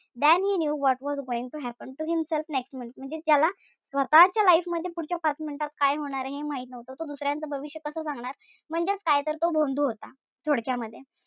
Than he knew what was going to happen to himself next minute म्हणजे ज्याला स्वतःच्या life मध्ये पुढच्या पाच minute मध्ये काय होणारे हे माहित नव्हतं. तो दुसऱ्याचं भविष्य कस सांगणार. म्हणजेच काय तर तो भोंदू होता. थोडक्यामध्ये.